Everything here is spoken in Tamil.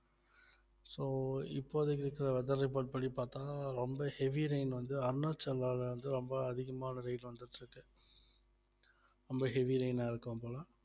so இப்போதைக்கு இருக்கற weather report படி பார்த்தா ரொம்ப heavy rain வந்து அருணாச்சல்ல வந்து ரொம்ப அதிகமான rain வந்துட்டிருக்கு ரொம்ப heavy rain ஆ இருக்கும் போல